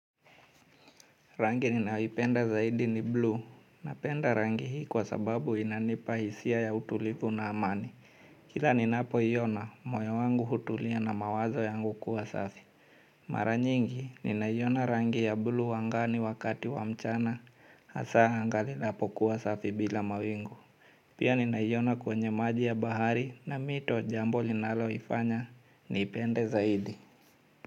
Rangi ninayoipenda zaidi ni blue. Napenda rangi hii kwa sababu inanipa hisia ya utulivu na amani. Kila ninapoiona, moyo wangu hutulia na mawazo yangu kuwa safi. Mara nyingi, ninaiona rangi ya blue angani wakati wa mchana, hasa anga linapokuwa safi bila mawingu. Pia ninaiona kwenye maji ya bahari na mito, jambo linalonifanya niipende zaidi.